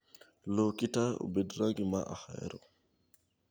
Loki taya obed rangi ma ahero